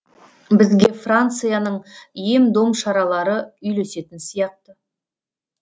бізге францияның ем дом шаралары үйлесетін сияқты